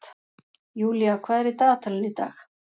Júnía, hvað er í dagatalinu í dag?